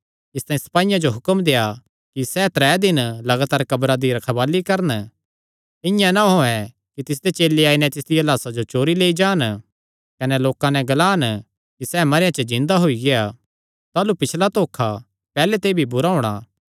इसतांई सपाईयां जो हुक्म देआ कि सैह़ त्रै दिन लगातार कब्रा दी रखवाल़ी करन इआं ना होयैं कि तिसदे चेले आई नैं तिसदिया लाह्सा जो चोरी लेई जान कने लोकां नैं ग्लान कि सैह़ मरेयां च जिन्दा होई गेआ ऐ ताह़लू पिछला धोखा पैहल्ले ते भी बुरा होणा